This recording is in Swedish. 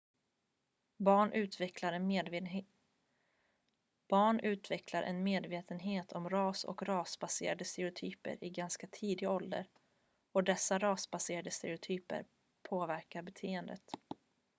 barn utvecklar en medvetenhet om ras och rasbaserade stereotyper i ganska tidig ålder och dessa rasbaserade stereotyper påverkar beteendet